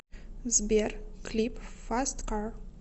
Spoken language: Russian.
сбер клип фаст кар